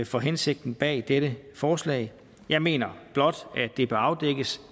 for hensigten bag dette forslag jeg mener blot at det bør afdækkes